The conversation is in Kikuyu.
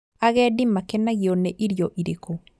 Agendi makenagio nĩ irio irĩkũ?